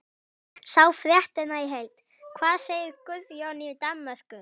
Sjá fréttina í heild: Hvað segir Guðjón í Danmörku?